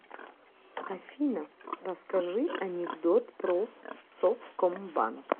афина расскажи анекдот про совкомбанк